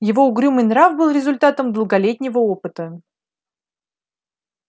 его угрюмый нрав был результатом долголетнего опыта